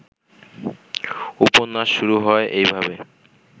উপন্যাস শুরু হয় এইভাবে